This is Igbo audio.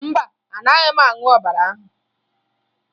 Mba, anaghị m aṅụ ọbara ahụ